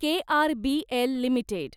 KRBL limited